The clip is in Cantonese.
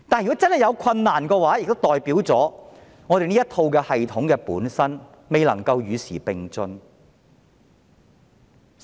若真的有困難，代表了這套系統本身未能與時並進。